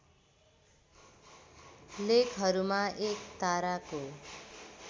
लेखहरूमा एक ताराको